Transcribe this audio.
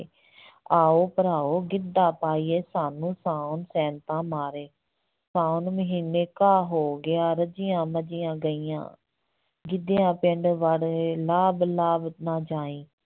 ਆਓ ਭਰਾਓ ਗਿੱਧਾ ਪਾਈਏ, ਸਾਨੂੰ ਸਾਉਣ ਸੈਂਤਾਂ ਮਾਰੇ, ਸਾਉਣ ਮਹੀਨੇ ਘਾਹ ਹੋ ਗਿਆ, ਰੱਜੀਆਂ ਮੱਝੀਆਂ ਗਈਆਂ, ਗਿੱਧਿਆ ਪਿੰਡ ਵੜ੍ਹ ਵੇ, ਲਾਭ ਲਾਭ ਨਾ ਜਾਈਂ।